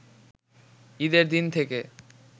ঈদের দিন থেকে